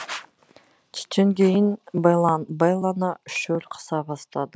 түстен кейін бэлланы шөл қыса бастады